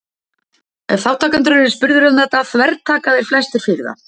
ef þátttakendur eru spurðir um þetta þvertaka þeir flestir fyrir það